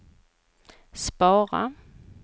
spara